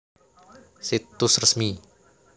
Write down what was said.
Situs resmi